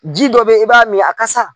Ji dɔ be yen i b'a min a kasa